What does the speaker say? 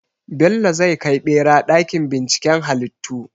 Bello zai kai ɓera ɗakin binciken halittu.